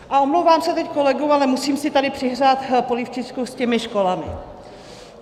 A omlouvám se teď kolegům, ale musím si tady přihřát polívčičku s těmi školami.